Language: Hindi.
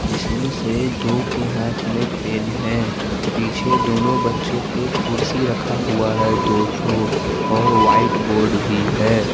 इसमें से दो के हाथ में पेन है पीछे दोनों बच्चों के कुर्सी रखा हुआ है डोर्थो और व्हाइट बोर्ड भी है।